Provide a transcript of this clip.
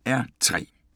DR P3